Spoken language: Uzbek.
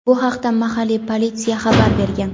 Bu haqda mahalliy politsiya xabar bergan.